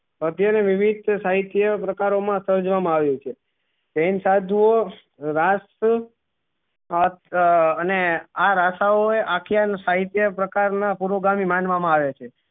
મધ્યે ની સાહિત્ય પ્રકારો મા સર્જનો માં આવ્યો છે જેન સાધુઓં રાષ્ટ્ર અને આ રસાઓએ અખિયા નું સાહિત્ય પ્રકાર ના પુરુગામી માનવા મા આવે છે